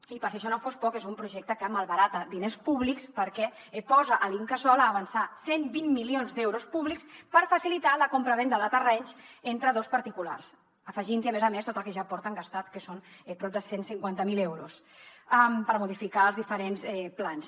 i per si això no fos poc és un projecte que malbarata diners públics perquè posa l’incasòl a avançar cent i vint milions d’euros públics per facilitar la compravenda de terrenys entre dos particulars afegint hi a més a més tot el que ja porten gastat que són prop de cent i cinquanta miler euros per modificar els diferents plans